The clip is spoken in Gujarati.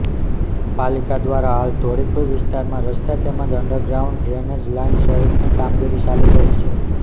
પાલિકા દ્વારા હાલ ધોળીકુઈ વિસ્તારમાં રસ્તા તેમજ અન્ડરગ્રાઉન્ડ ડ્રેનેજ લાઈન સહિતની કામગીરી ચાલી રહી છે